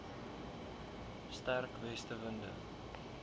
sterk weste winde